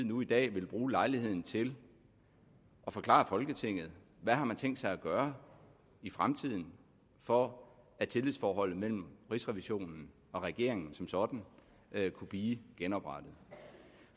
nu i dag ville bruge lejligheden til at forklare folketinget hvad man har tænkt sig gøre i fremtiden for at tillidsforholdet mellem rigsrevisionen og regeringen som sådan kunne blive genoprettet